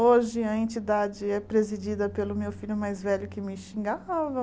Hoje a entidade é presidida pelo meu filho mais velho que me xingava.